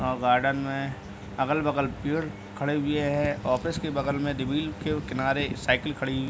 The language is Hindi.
अं गार्डन में अगल-बगल पेड़ खड़े हुए हैं। ऑफिस के बगल के किनारे साइकिल खड़ी हुई --